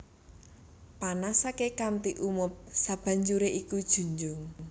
Panasaké kanthi umup sabanjuré iku junjung